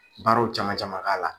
Baaraw caman caman k'a la.